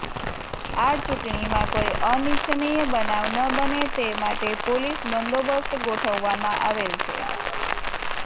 આ ચૂંટણીમાં કોઈ અનિચ્છનીય બનાવ ન બને તે માટે પોલીસ બંદોબસ્ત ગોઠવવામાં આવેલ છે